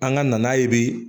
An ka na n'a ye bi